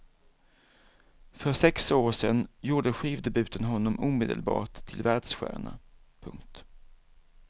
För sex år sen gjorde skivdebuten honom omedelbart till världsstjärna. punkt